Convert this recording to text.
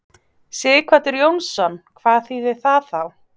Sighvatur Jónsson: Hvað þýðir það þá?